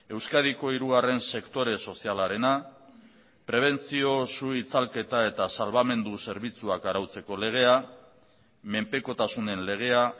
euskadiko hirugarren sektore sozialarena prebentzio su itzalketa eta salbamendu zerbitzuak arautzeko legea menpekotasunen legea